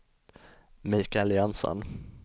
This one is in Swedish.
Michael Jönsson